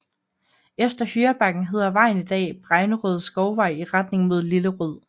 Efter Hyrebakken hedder vejen i dag Bregnerød Skovvej i retning mod Lillerød